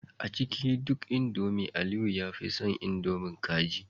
A cikin duk indomie Aliyu ya fi son indomie kaji